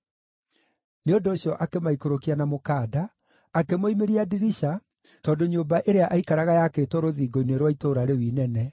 Nĩ ũndũ ũcio akĩmaikũrũkia na mũkanda, akĩmoimĩria ndirica tondũ nyũmba ĩrĩa aikaraga yaakĩtwo rũthingo-inĩ rwa itũũra rĩu inene.